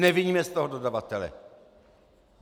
Neviňme z toho dodavatele.